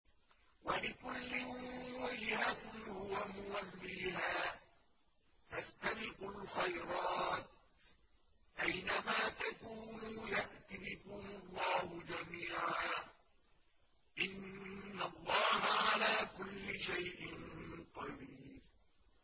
وَلِكُلٍّ وِجْهَةٌ هُوَ مُوَلِّيهَا ۖ فَاسْتَبِقُوا الْخَيْرَاتِ ۚ أَيْنَ مَا تَكُونُوا يَأْتِ بِكُمُ اللَّهُ جَمِيعًا ۚ إِنَّ اللَّهَ عَلَىٰ كُلِّ شَيْءٍ قَدِيرٌ